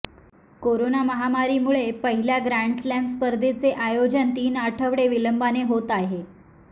corona महामारीमुळे पहिल्या grand slam स्पर्धेचे आयोजन तीन आठवडे विलंबाने होत आहे